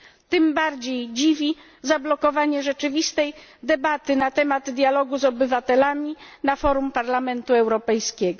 Tym bardziej dziwi zablokowanie rzeczywistej debaty na temat dialogu z obywatelami na forum Parlamentu Europejskiego.